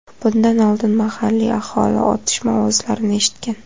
Bundan oldin mahalliy aholi otishma ovozlarini eshitgan.